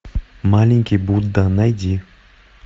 маленький будда найди